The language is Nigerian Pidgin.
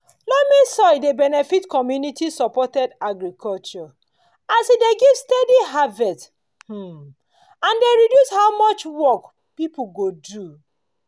loamy soil dey benefit community-supported agriculture (csa) as e dey give steady harvest um and dey reduce how much work pipu go do.